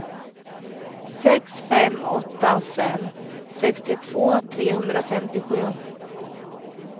sex fem åtta fem sextiotvå trehundrafemtiosju